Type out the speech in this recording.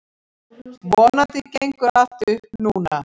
Vonandi gengur allt upp núna.